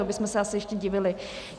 To bychom se asi ještě divili.